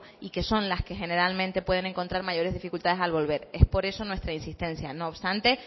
y que son las que generalmente pueden encontrar mayores dificultades al volver es por eso nuestra insistencia no obstante